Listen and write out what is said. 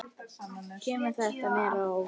Kemur þetta mér á óvart?